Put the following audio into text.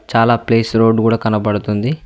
చాలా ప్లేస్ రోడ్డు గూడ కనబడుతుంది.